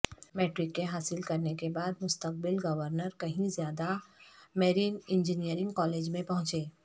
matric کے حاصل کرنے کے بعد مستقبل گورنر کہیں زیادہ میرین انجینئرنگ کالج میں پہنچے